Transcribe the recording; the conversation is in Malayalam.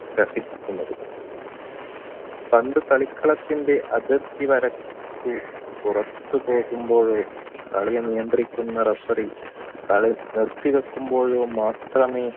ത്രസിക്കുന്നത് പന്ത് കളിക്കളത്തിടെ അതിർത്തി വരക്കു പുറത്തു പോകുമ്പോൾ കളി നിയന്ത്രിക്കുന്ന referee കളി നിർത്തിവെക്കുമ്പോഴോ മാത്രമേ